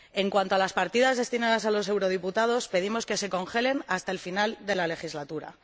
En cuanto a las partidas destinadas a los diputados, pedimos que se congelen hasta el final de la legislatura.